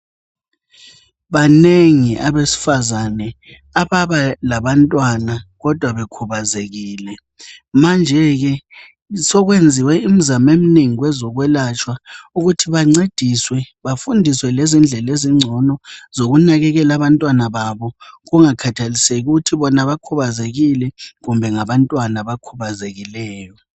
Banengi abesifazana ababa labantwana kodwa bekhubazekile manje ke sekwenziwe imizamo eminengi kwezokwelatshwa ukuthi bancediswe bafundiswe lezindlela ezingcono zokunakekela abantwana kungakhathalekile ukuthi bona bakhubazekile kumbe ngabantwana abakhubazekileyo.